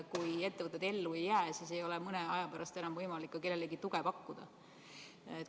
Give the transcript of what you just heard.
Kui ettevõtted ellu ei jää, siis ei ole mõne aja pärast enam võimalik kellelegi tuge pakkuda.